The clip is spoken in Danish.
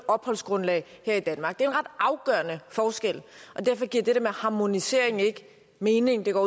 opholdsgrundlag her i danmark det afgørende forskel og derfor giver det der med harmonisering ikke mening det går